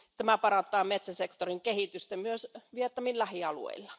Tämä parantaa metsäsektorin kehitystä myös Vietnamin lähialueilla.